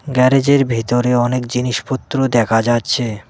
গ্যারেজের ভিতরে অনেক জিনিসপত্র দেখা যাচ্ছে।